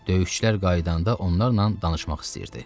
Döyüşçülər qayıdanda onlarla danışmaq istəyirdi.